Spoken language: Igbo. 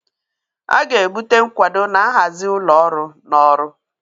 A ga-ebute nkwado na nhazi ụlọ ọrụ na ọrụ.